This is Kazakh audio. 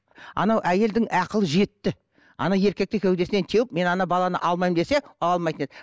анау әйелдің ақылы жетті ана еркекті кеудесінен теуіп мен ана баланы алмаймын десе ала алмайтын еді